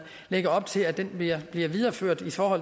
lægger op til at det bliver bliver videreført for